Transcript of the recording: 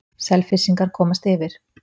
Selfyssingar komast yfir.